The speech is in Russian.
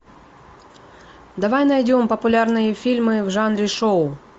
давай найдем популярные фильмы в жанре шоу